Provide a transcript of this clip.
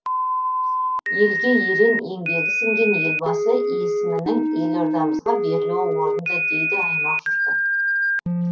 елге ерен еңбегі сіңген елбасы есімінің елордамызға берілуі орынды дейді аймақ жұрты